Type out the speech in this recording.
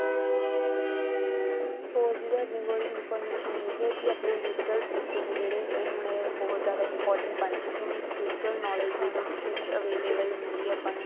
ਹੋਰ ਸਾਡੇ information ਇਹ ਹੈ ਆਪਣੇ digital ਤਰੀਕੇ ਨੇ ਜਿਹੜੇ ਹੁਣ ਇਹ ਬਹੁਤ ਜਿਆਦਾ important ਬਣ ਚੁੱਕੇ ਨੇ digital knowledge ਵੀ available ਹੁੰਦੀ ਆ ਆਪਾਂ ਨੂੰ